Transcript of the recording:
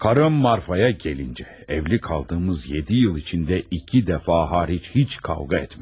Karım Marfaya gəlincə, evli qaldığımız yeddi il içində iki dəfə xaric heç kavğa etmədim.